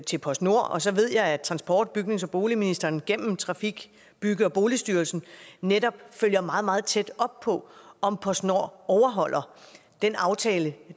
til postnord og så ved jeg at transport bygnings og boligministeren gennem trafik bygge og boligstyrelsen netop følger meget meget tæt op på om postnord overholder den aftale